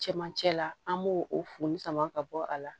Cɛmancɛ la an b'o o foli sama ka bɔ a la